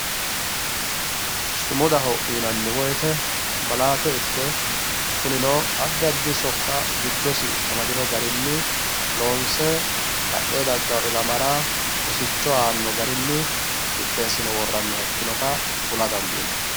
Sumudaho yinanni woyte malaate ikke kunino addi addi sokka giddosi amadino garini loonse badheeni daggano ilamara rosicho aano garinni qixxeessine worooniha.